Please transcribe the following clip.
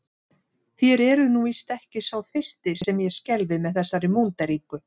Þér eruð nú víst ekki sá fyrsti sem ég skelfi með þessari múnderingu.